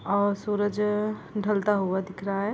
सूरजअ ढलता हुआ दिख रहा है।